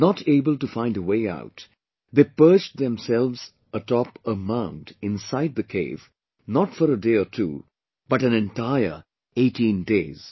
Not able to find a way out, they perched themselves a top a mound inside the cave; not for a day or two, but an entire 18 days